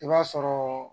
I b'a sɔrɔ